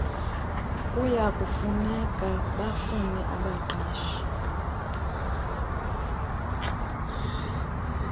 kuyakufuneka bafune abaqashi